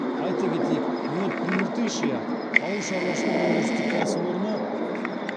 айта кетейік мед прииртышья ауыл шаруашылық өндірістік кәсіпорыны